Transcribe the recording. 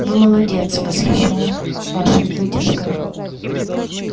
вы молодец восхищён вашей выдержкой